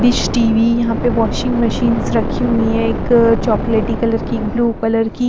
dish TV यहाँ पे washing machines रखी हुई है एक चॉकलेटी कलर की ब्लू कलर की --